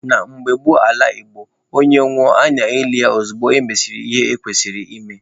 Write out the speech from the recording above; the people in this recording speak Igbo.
Na mgbe gboo n'ala Igbo, onye nwụọ a na-eli ya ozugbo emesịrị ihe ekwesịrị ime